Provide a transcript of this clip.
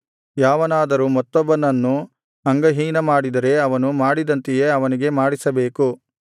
ಯಾವನಾದರೂ ಮತ್ತೊಬ್ಬನನ್ನು ಅಂಗಹೀನಮಾಡಿದರೆ ಅವನು ಮಾಡಿದಂತೆಯೇ ಅವನಿಗೆ ಮಾಡಿಸಬೇಕು